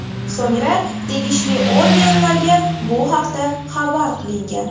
So‘ngra tegishli organlarga bu haqda xabar qilingan.